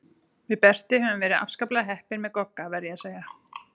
Við Berti höfum verið afskaplega heppin með Gogga, verð ég að segja.